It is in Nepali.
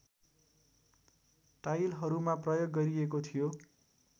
टाइलहरूमा प्रयोग गरिएको थियो